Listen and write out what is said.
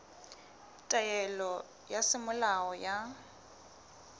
ya taelo ya semolao ya